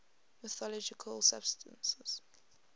mythological substances